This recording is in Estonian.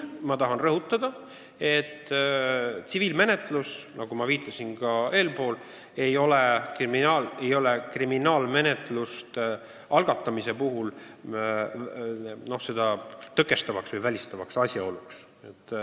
Tahan rõhutada, et tsiviilmenetlus, nagu ma juba ütlesin, ei ole kriminaalmenetluse algatamise puhul seda tõkestav või välistav asjaolu.